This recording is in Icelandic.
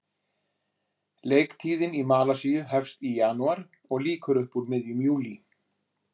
Leiktíðin í Malasíu hefst í janúar og lýkur upp úr miðjum júlí.